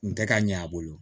N tɛ ka ɲɛ a bolo